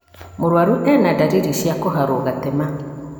Mũrwaru ena ndariri cia kũharwo gatema